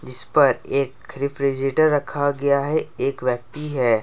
इस पर एक रेफ्रिजरेटर रखा गया है एक व्यक्ति है।